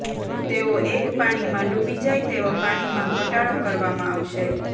તેઓ એક પાણીમાં ડૂબી જાય તેવા પાણીમાં ઘટાડો કરવામાં આવશે